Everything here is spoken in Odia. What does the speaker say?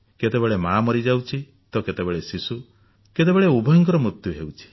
କେତେବେଳେ ମା ମରିଯାଉଛି ତ କେତେବେଳେ ଶିଶୁ କେତେବେଳେ ଉଭୟଙ୍କର ମୂତ୍ୟୁ ହେଉଛି